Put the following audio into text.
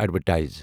Advertise.